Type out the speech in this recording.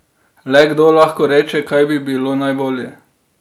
Le kdo lahko reče, kaj bi bilo najbolje?